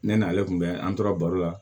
Ne n'ale kun bɛ an tora baro la